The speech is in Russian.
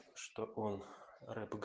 что он рэп иг